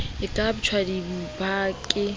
e ka suptjwa dipha ke